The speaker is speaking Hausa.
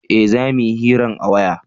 eh za muyi hiran a waya